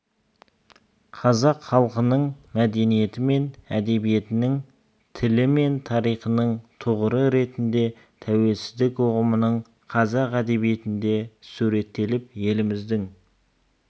қазақ халқының мәдениеті мен әдебиетінің тілі мен тарихының тұғыры ретінде тәуелсіздік ұғымының қазақ әдебиетінде суреттеліп еліміздің